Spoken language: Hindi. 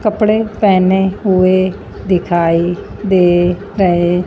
कपड़े पहने हुए दिखाई दे रहे--